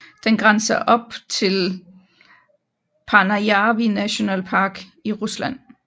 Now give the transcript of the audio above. Den grænser op til Paanajärvi National Park i Rusland